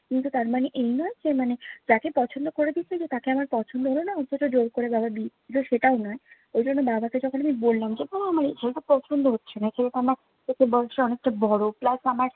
কিন্তু তার মানে এই নয় যে, মানে যাকে পছন্দ করে দিয়েছে তাকে আমার পছন্দ হলো না উপরন্তু জোড় করে বাবা বিয়ে দিলো, সেটাও নয়। ওজন্য বাবাকে যখন আমি বললাম যে, বাবা আমার এই ছেলেটা পছন্দ হচ্ছে না। যেহেতু আমার থেকে বয়সে অনেকটা বড় plus আমার